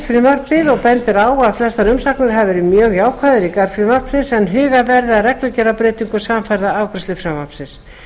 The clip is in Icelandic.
frumvarpið og bendir á að flestar umsagnir hafi verið mjög jákvæðar í garð frumvarpsins en huga verði að reglugerðarbreytingum samfara afgreiðslu frumvarpsins það